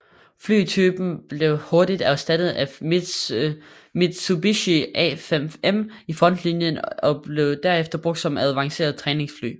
Flytypen blev hurtigt erstattet af Mitsubishi A5M i frontlinien og blev derefter brugt som avanceret træningsfly